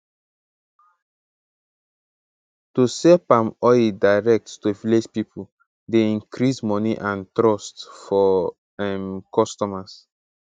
to sell palm oil direct to village people dey increase money and trust for um customers